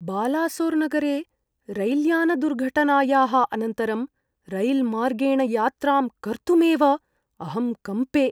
बालासोर्नगरे रैल्यानदुर्घटनायाः अनन्तरं, रैल्मार्गेण यात्रां कर्तुमेव अहं कम्पे।